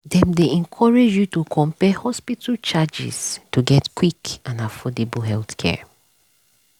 dem dey encourage you to compare hospital charges to get quick and affordable healthcare.